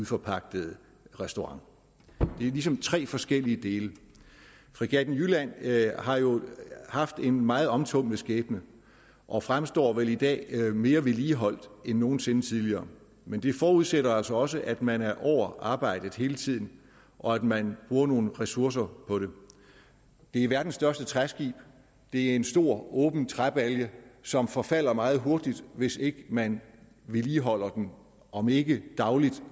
forpagtede restaurant det er ligesom tre forskellige dele fregatten jylland har jo haft en meget omtumlet skæbne og fremstår vel i dag mere vedligeholdt end nogen sinde tidligere men det forudsætter altså også at man er over arbejdet hele tiden og at man bruger nogle ressourcer på det det er verdens største træskib det er en stor åben træbalje som forfalder meget hurtigt hvis ikke man vedligeholder den om ikke dagligt